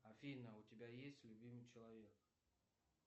афина у тебя есть любимый человек